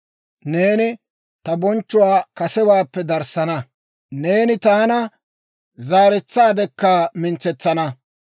Neeni ta bonchchuwaa kasewaappe darissana; neeni taana zaaretsaadekka mintsetsana.